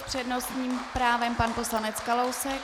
S přednostním právem pan poslanec Kalousek.